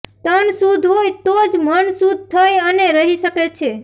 તન શુદ્ધ હોય તો જ મન શુદ્ધ થઇ અને રહી શકે છે